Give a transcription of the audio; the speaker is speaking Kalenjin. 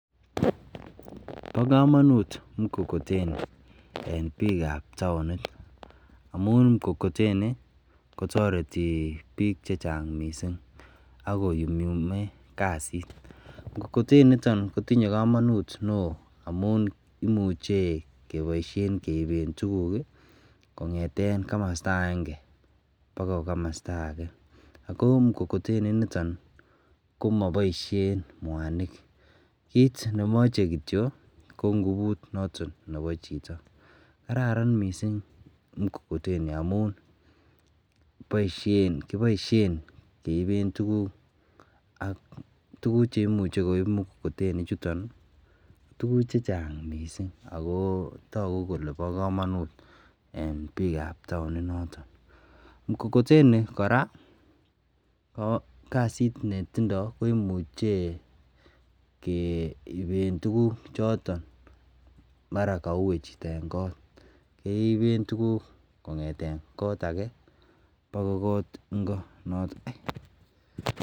Ba kamanut mkokoteni en bik ab taonit amun mkokotenikotareti bik chechang mising akonyumyume kasit mkokoteni initon kotinye kamanut neon amun imuche kebaishen Keven tugug kongeten kamasta agenge bagoi kamasta age ako mkokoteni initon komabaishen mwanik kit nemache kityo ko ngubut noton Nebo Chito kararan mising mkokoteni amun kibaishen keiben tuguk ak tuguk cheimuche koib mkokoteni chuton ko tuguk chechang mising akotaku Kole ba kamanut mising en bik ab taonit yoton mkokoteni koraa koyae kasit netindo komuche keiben tuguk choton mara kaue Chito en kot keiben tuguk kongeten kot age ako kot Ingo